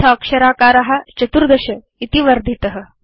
अथ अक्षराकार 14 इति वर्धित